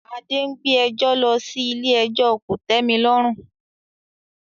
Adé ń gbé ẹjọ́ lọ sí ilé ẹjọ́ kòtẹ́milọ́rùn